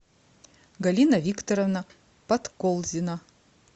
галина викторовна подколзина